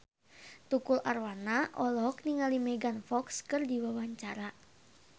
Tukul Arwana olohok ningali Megan Fox keur diwawancara